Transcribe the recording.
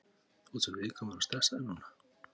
Þú ert svo viðkvæmur og stressaður núna.